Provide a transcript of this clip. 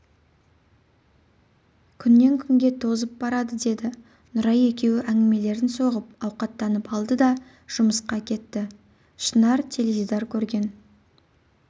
күннен күнге тозып барады деді нұрай екеуі әңгімелерін соғып ауқаттанып алды да жұмысқа кетті шынар теледидар көрген